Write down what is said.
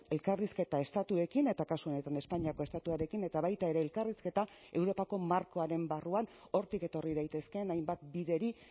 elkarrizketa estatuekin eta kasu honetan espainiako estatuarekin eta baita ere elkarrizketa europako markoaren barruan hortik etorri daitezkeen hainbat bideri